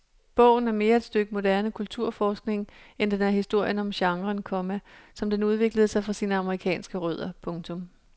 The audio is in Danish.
Bogen er mere et stykke moderne kulturforskning end den er historien om genren, komma som den udviklede sig fra sine amerikanske rødder. punktum